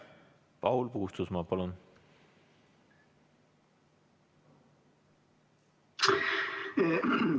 Paul Puustusmaa, palun!